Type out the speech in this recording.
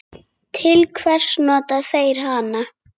Til hvers nota þeir hana?